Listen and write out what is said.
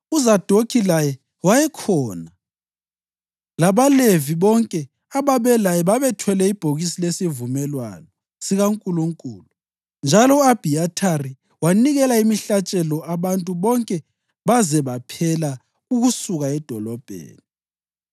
UZadokhi laye wayekhona, labaLevi bonke ababelaye babethwele ibhokisi lesivumelwano sikaNkulunkulu, njalo u-Abhiyathari wanikela imihlatshelo abantu bonke baze baphela ukusuka edolobheni.